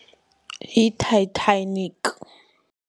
Yi-Titanic.